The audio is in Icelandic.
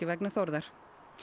vegna Þórðar